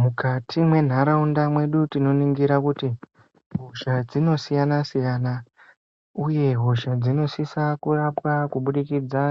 Mukati mwentharaunda mwedu tinoningira kuti hosha dzinosiyana -siyana, uye hosha dzinosisa kurapwa kubudikidza,